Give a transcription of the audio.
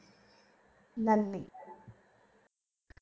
നന്ദി